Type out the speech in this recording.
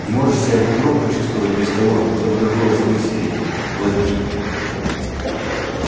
не можешь себя бугром почувствовать без того чтобы другого в пыль стереть плати